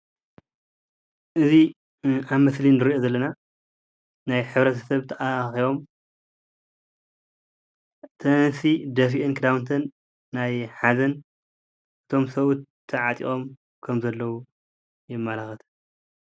እዚ ኣብ ምስሊ እንሪኦ ዘለና ናይ ሕብረተሰብ ተኣኻኺቦም እተን ኣንስቲ ደፊአን ክዳውንተን ናይ ሓዘን ፣ እቶም ሰብኡት ተዓጢቆም ከም ዘለው የመላክት።